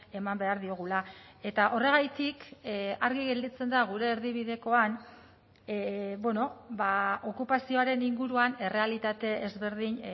eman behar diogula eta horregatik argi gelditzen da gure erdibidekoan okupazioaren inguruan errealitate ezberdin